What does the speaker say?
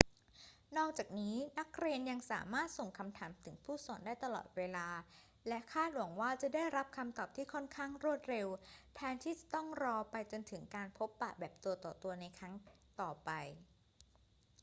นอกจากนี้ นักเรียนยังสามารถส่งคำถามถึงผู้สอนได้ตลอดเวลาและคาดหวังว่าจะได้รับคำตอบที่ค่อนข้างรวดเร็วแทนที่จะต้องรอไปจนถึงการพบปะแบบตัวต่อตัวในครั้งต่อไป